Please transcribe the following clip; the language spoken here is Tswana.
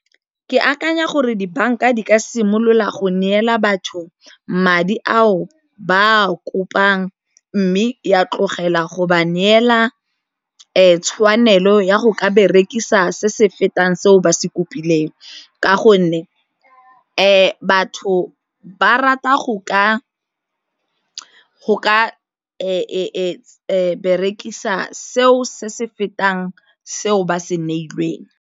Ke akanya gore dibanka di ka simolola go neela batho madi ao ba a kopang mme ya tlogela go ba neela tshwanelo ya go ka berekisa se se fetang seo se kopileng, ka gonne batho ba rata go ka go ka berekisa seo se se fetang seo ba se neilweng.